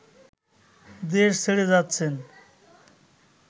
দেশ ছেড়ে যাচ্ছেন